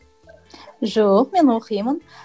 жоқ мен оқимын